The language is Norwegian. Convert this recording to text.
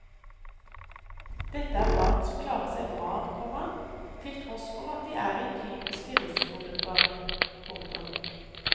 Dette er barn som klarer seg bra, komma til tross for at de er i typiske risikogrupper. punktum